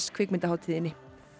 kvikmyndahátíðinni